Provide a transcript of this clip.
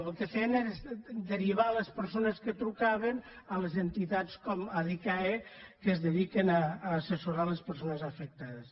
el que feien era derivar les persones que trucaven a les entitats com adicae que es dediquen a assessorar les persones afectades